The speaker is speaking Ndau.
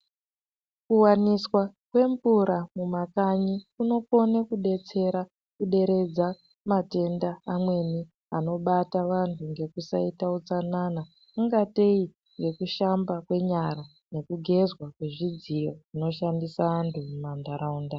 Kuwaniswa kwemvura mumakanyi kunokone kudetsera kuderedza matenda amweni anobata vanhu ngekusaita hutsanana, kungateyi nekushamba kwenyara ,ngekugezwa kwezidziyo zvinoshandisa antu mumantaraunda.